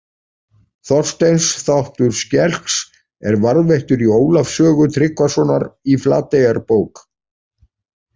Þorsteins þáttur skelks er varðveittur í Ólafs sögu Tryggvasonar í Flateyjarbók